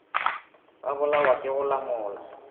ba bolawa ke go lamola